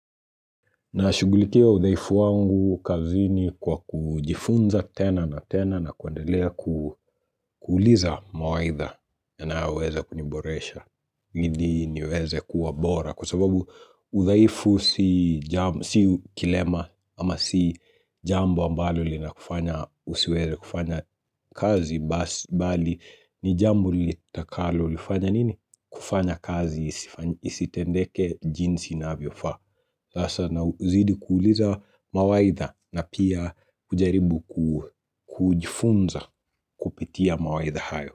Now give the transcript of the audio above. Na shugulikia udhaifu wangu kazini kwa kujifunza tena na tena na kuendelea ku kuuliza mawaidha yanao weza kuniboresha. Ili niweze kuwa bora kwa sababu uthaifu si jambo si kilema ama si jambo ambalo lina kufanya usiweze kufanya kazi bali ni jambo litakalo lifanya nini? Kufanya kazi isifa isitendeke jinsi inavyo faa Sasa na uzidi kuuliza mawaidha na pia kujaribu ku kujifunza kupitia mawaidha hayo.